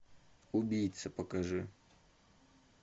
убийцы покажи